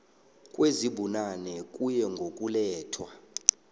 kwezibunane kuye ngokulethwa